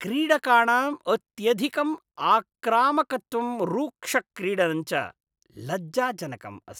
क्रीडकाणाम् अत्यधिकम् आक्रामकत्वं रुक्षक्रीडनं च लज्जाजनकम् अस्ति।